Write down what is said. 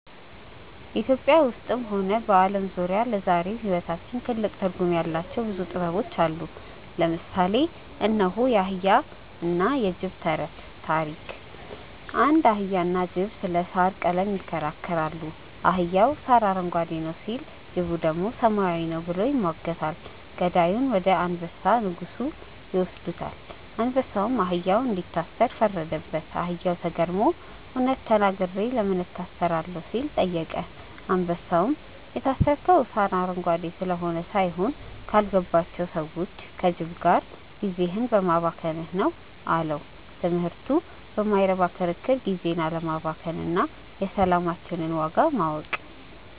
ኢትዮጵያ ውስጥም ሆነ በዓለም ዙሪያ ለዛሬው ሕይወታችን ትልቅ ትርጉም ያላቸው ብዙ ጥበቦች አሉ። ለምሳሌ እነሆ፦ የአህያና የጅብ ተረት (ታሪክ) አንድ አህያና ጅብ ስለ ሣር ቀለም ይከራከራሉ። አህያው "ሣር አረንጓዴ ነው" ሲል፣ ጅቡ ደግሞ "ሰማያዊ ነው" ብሎ ይሟገታል። ጉዳዩን ወደ አንበሳ (ንጉሡ) ይወስዱታል። አንበሳውም አህያውን እንዲታሰር ፈረደበት። አህያውም ተገርሞ "እውነት ተናግሬ ለምን እታሰራለሁ?" ሲል ጠየቀ። አንበሳውም "የታሰርከው ሣር አረንጓዴ ስለሆነ ሳይሆን፣ ካልገባቸው ሰዎች (ከጅብ) ጋር ጊዜህን በማባከንህ ነው" አለው። ትምህርቱ በማይረባ ክርክር ጊዜን አለማባከን እና የሰላማችንን ዋጋ ማወቅ።